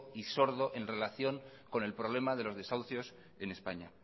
y sordo en relación con el problema de los desahucios en españa